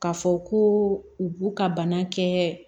K'a fɔ ko u b'u ka bana kɛ